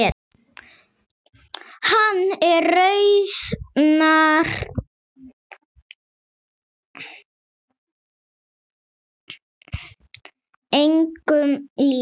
Hann er raunar engum líkur.